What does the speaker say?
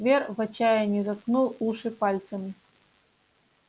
твер в отчаянии заткнул уши пальцами